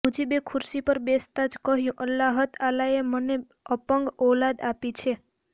મુજીબે ખુરશી પર બેસંતા જ કહ્યું અલ્લાહતઆલાએ મને અપંગ ઔલાદ આપી છે